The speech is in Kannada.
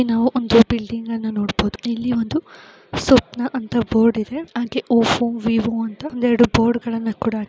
ಇಲ್ಲಿ ನಾವು ಒಂದು ಬಿಲ್ಡಿಂಗ್ ಅನ್ನ ನೋಡ್ಬೋದು ಇಲ್ಲಿ ಒಂದು ಸ್ವಪ್ನ ಅಂದ್ರೆ ಓರ್ರ್ಡ್ ಇದೆ ಹಾಗೆ ಒಪ್ಪೋ ವಿವೊ ಅಂತ ಒಂದೆರಡು ಬೋರ್ಡ್ಗಳನ್ನ ಕೂಡ ಹಾಕಿ --